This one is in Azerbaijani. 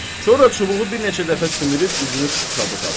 Sonra çubuğu bir neçə dəfə sümürüb üzünü tutdu Sadığa.